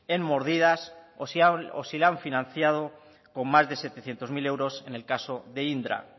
en mordidas o si le han financiado con más de setecientos mil euros en el caso de indra